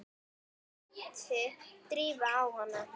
æpti Drífa á hana.